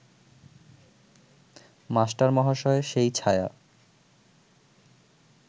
মাস্টারমহাশয় সেই ছায়া